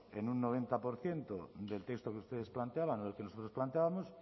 en un noventa por ciento del texto que ustedes planteaban y nosotros planteábamos